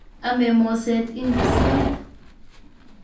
Ame moset indisiot